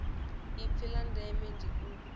ipfi la ndeme ndi u